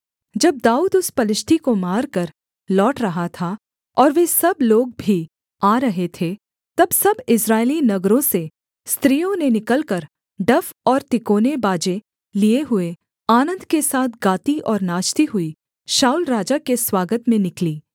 जब दाऊद उस पलिश्ती को मारकर लौट रहा था और वे सब लोग भी आ रहे थे तब सब इस्राएली नगरों से स्त्रियों ने निकलकर डफ और तिकोने बाजे लिए हुए आनन्द के साथ गाती और नाचती हुई शाऊल राजा के स्वागत में निकलीं